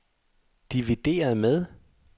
divideret med